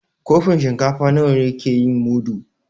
Kofin shinkafa nawa ne ke yin mudu?